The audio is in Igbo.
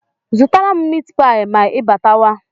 Zụtara m mitipịa ma ịbatawa?